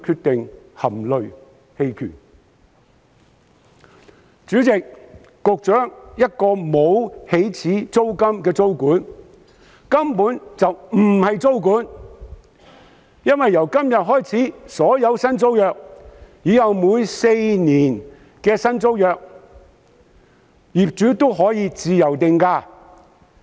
代理主席、局長，不設起始租金的租管根本不是租管，因為由今天開始，在所有為期合共4年的新租約中，業主均可自由定價。